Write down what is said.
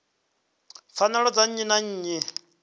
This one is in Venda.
pfanelo dza nnyi na nnyi